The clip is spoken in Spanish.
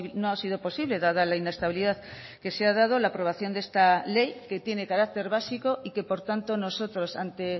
no ha sido posible dada la inestabilidad que se ha dado la aprobación de esta ley que tiene carácter básico y que por tanto nosotros ante